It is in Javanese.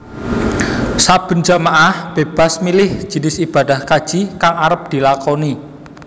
Saben jamaah bébas milih jinis ibadah kaji kang arep dilakoni